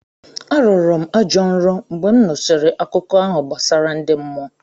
Arọrọ m ajọ nrọ mgbe m nụsịrị akụkọ ahụ gbasara ndi mmụọ.